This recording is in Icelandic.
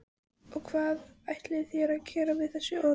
Og hvað ætlið þér að gera við þessi orð?